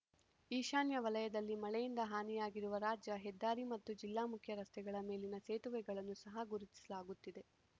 ಈಶಾನ್ಯ ವಲಯದಲ್ಲಿ ಮಳೆಯಿಂದ ಹಾನಿಯಾಗಿರುವ ರಾಜ್ಯ ಹೆದ್ದಾರಿ ಮತ್ತು ಜಿಲ್ಲಾ ಮುಖ್ಯ ರಸ್ತೆಗಳ ಮೇಲಿನ ಸೇತುವೆಗಳನ್ನು ಸಹ ಗುರುತಿಸಲಾಗುತ್ತಿದೆ